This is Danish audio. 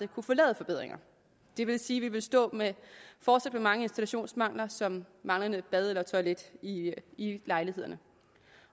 kunne få lavet forbedringer det vil sige vi ville stå med mange installationsmangler som manglende bad eller toilet i i lejlighederne